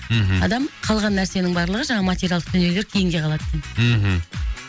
мхм адам қалған нәрсенің барлығы жаңағы материалдық дүниелер кейінге қалады екен мхм